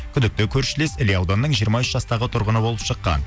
күдікті көршілес іле ауданының жиырма үш жастағы тұрғыны болып шыққан